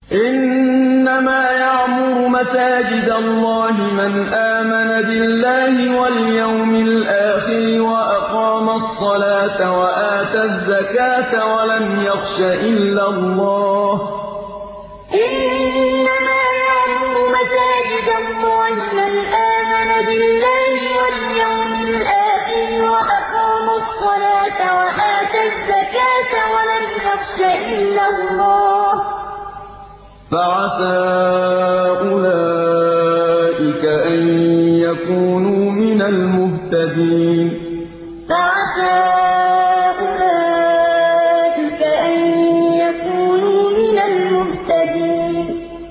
إِنَّمَا يَعْمُرُ مَسَاجِدَ اللَّهِ مَنْ آمَنَ بِاللَّهِ وَالْيَوْمِ الْآخِرِ وَأَقَامَ الصَّلَاةَ وَآتَى الزَّكَاةَ وَلَمْ يَخْشَ إِلَّا اللَّهَ ۖ فَعَسَىٰ أُولَٰئِكَ أَن يَكُونُوا مِنَ الْمُهْتَدِينَ إِنَّمَا يَعْمُرُ مَسَاجِدَ اللَّهِ مَنْ آمَنَ بِاللَّهِ وَالْيَوْمِ الْآخِرِ وَأَقَامَ الصَّلَاةَ وَآتَى الزَّكَاةَ وَلَمْ يَخْشَ إِلَّا اللَّهَ ۖ فَعَسَىٰ أُولَٰئِكَ أَن يَكُونُوا مِنَ الْمُهْتَدِينَ